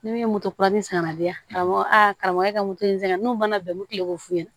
Ne ye moto kura min san ka di yan a b'a fɔ a karamɔgɔ e ka moto in sɛgɛn n'o mana bɛn n bɛ kile k'o f'u ɲɛna